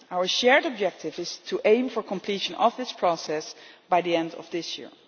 Our shared objective is to aim for completion of this process by the end of this year.